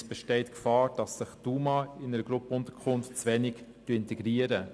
Es besteht die Gefahr, dass sich die UMA in einer Gruppenunterkunft zu wenig integrieren.